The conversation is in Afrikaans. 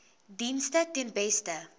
dienste ten beste